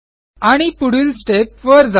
आणि पुढील Stepवर जा